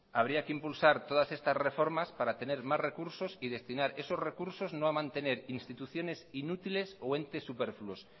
habría que impulsar todas estas reformas para tener más recursos y destinar esos recursos no a mantener instituciones inútiles o entes superfluos